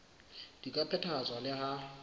di ka phethahatswa le ha